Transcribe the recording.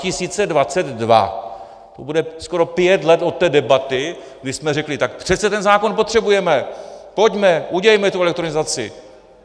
To bude skoro pět let od té debaty, kdy jsme řekli: Tak přece ten zákon potřebujeme, pojďme, udělejme tu elektronizaci!